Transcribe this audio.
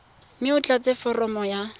mme o tlatse foromo ya